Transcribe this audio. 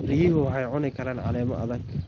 Riyuhu waxay cuni karaan caleemo adag.